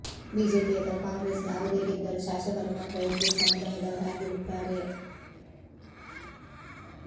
BJP ಅಥವಾ ಕಾಂಗ್ರೆಸ್ ಯಾವುದೇ ಗೆದ್ದರೂ ಶಾಸಕರು ಮಾತ್ರ ಒಂದೇ ಸಮುದಾಯದವರಾಗಿರುತ್ತಾರೆ